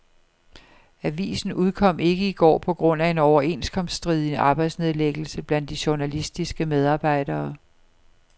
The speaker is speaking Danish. Avisen udkom ikke i går på grund af en overenskomststridig arbejdsnedlæggelse blandt de journalistiske medarbejdere.